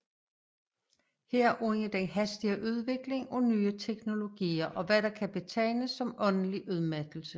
Herunder den hastige udvikling af nye teknologier og hvad der kan betegnes som åndelig udmattelse